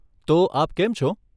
તો, આપ કેમ છો?